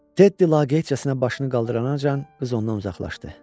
Teddi laqeydcəsinə başını qaldırana qız ondan uzaqlaşdı.